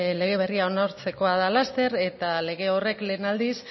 lege berria onartzekoa da laster eta lege horrek lehen aldiz